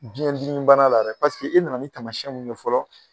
Biyɛn dimi bana la dɛ paseke e nana ni taamasiyɛnw mun ye fɔlɔ